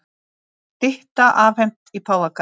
Stytta afhent í Páfagarði